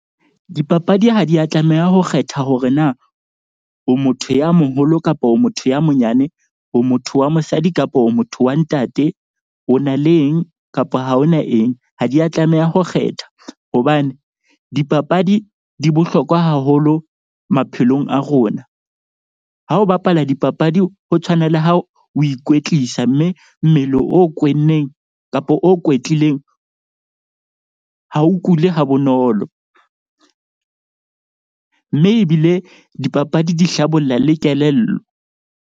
Dipapadi ha di ya tlameha ho kgetha hore na o motho ya moholo kapa o motho ya monyane, o motho wa mosadi kapo motho wa ntate, o na le eng kapa ha hona eng. Ha di ya tlameha ho kgetha hobane dipapadi di bohlokwa haholo maphelong a rona. Ha o bapala dipapadi ho tshwana le ha o ikwetlisa. Mme mmele o kwenneng kapa o kwetlileng ha o kule ha bonolo. Mme ebile dipapadi di hlabolla le kelello.